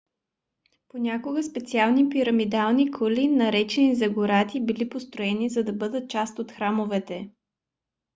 понякога специални пирамидални кули наречени зигурати били построени за да бъдат част от храмовете